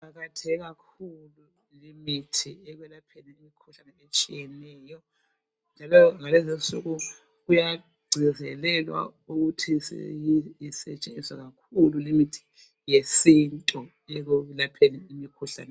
Iqakatheke kakhulu limithi ekwelapheni imikhuhlane etshiyeneyo, njalo ngalezinsuku kuyagcizelelwa ukuthi isetshenziswe kakhulu limithi yesintu ekulapheni imikhuhlane.